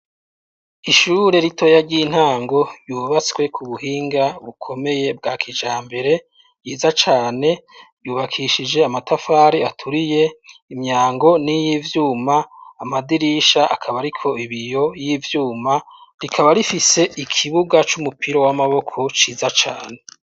Ishure ritoya ry'intango yubatswe ku buhinga bukomeye bwa kijambere ryiza cane yubakishije amatafari aturiye imyango n'iy'ivyuma amadirisha akaba ariko ibiyo y'ivyuma rikaba rifise ikibuga c'umupira w'amaboko ciza cane.